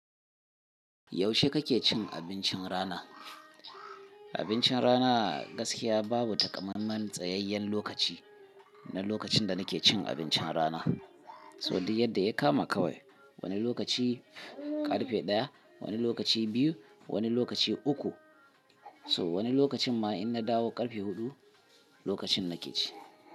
Yaushe kake cin abincin rana? Abincin rana gaskiya babu takamamman tsayayyen lokaci na lokacin da nake cin abincin rana. So dai yadda ya kama kawai. Wani lokaci ƙarfe ɗaya, wani lokaci biyu, wani lokaci uku. So wani lokacin ma in na dawo ƙarfe huɗu lokacin nake ci.